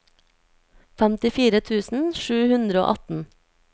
femtifire tusen sju hundre og atten